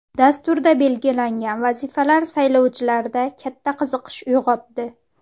Dasturda belgilangan vazifalar saylovchilarda katta qiziqish uyg‘otdi.